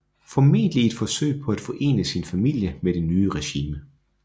Formentlig i et forsøg på at forene sin familie med det nye regime